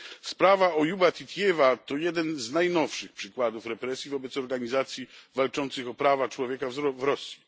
Sprawa Ojuba Titijewa to jeden z najnowszych przykładów represji wobec organizacji walczących o prawa człowieka w Rosji.